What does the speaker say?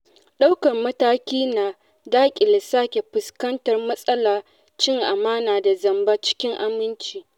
Ɗaukar mataki na daƙile sake fuskantar matsalar cin amana da zamba cikin aminci.